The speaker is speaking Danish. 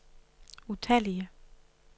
utallige